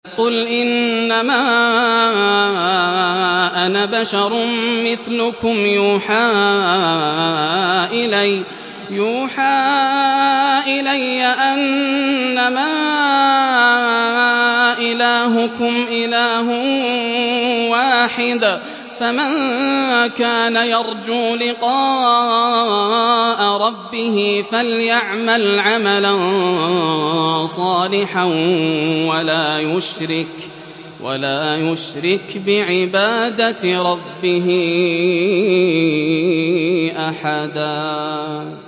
قُلْ إِنَّمَا أَنَا بَشَرٌ مِّثْلُكُمْ يُوحَىٰ إِلَيَّ أَنَّمَا إِلَٰهُكُمْ إِلَٰهٌ وَاحِدٌ ۖ فَمَن كَانَ يَرْجُو لِقَاءَ رَبِّهِ فَلْيَعْمَلْ عَمَلًا صَالِحًا وَلَا يُشْرِكْ بِعِبَادَةِ رَبِّهِ أَحَدًا